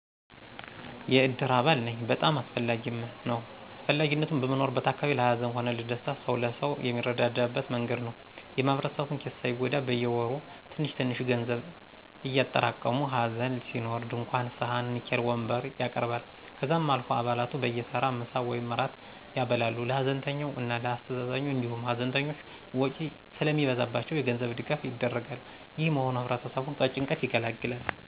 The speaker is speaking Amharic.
የእድር አባል ነኝ። በጣም አስፈላጊም ነዉ. አስፈላጊነቱም, በምንኖርበት አካባቢ ለ ሀዘን ሆነ ለደስታ ሰዉ ለሰው የሚረዳዳበት መንገድ ነዉ። የ ማህበረሰቡን ኪስ ሳይጎዳ በየወሩ ትንሽትንሽ ገንዘብ እያጠራቀሙ ሀዘን ሲኖር ድንኳን ,ሰሀን, ንኬል, ወንበር ያቀርባል። ከዛም አልፎ አባላቱ በየተራ ምሳ ወይም እራት ያበላሉ ለ ሀዘንተኛው እና ለ አስተዛዛኙ, እንዲሁም ሀዘንተኞች ውጪ ስለሚበዛባቸው የገንዘብ ድጋፍ ይደረጋል። ይህ መሆኑ ህብረተሰቡን ከጭንቀት ይገላግላል።